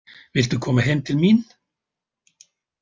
Viltu koma heim til mín?